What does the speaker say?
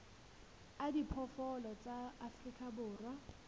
a diphoofolo tsa afrika borwa